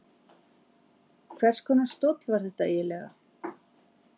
Hvers konar stóll var þetta eiginlega?